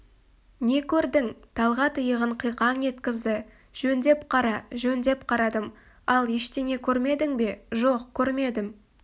не көрдің талғат иығын қиқаң еткізді жөндеп қара жөндеп қарадым ал ештеңе көрмедің бе жоқ көрмедім